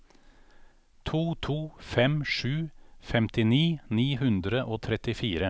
to to fem sju femtini ni hundre og trettifire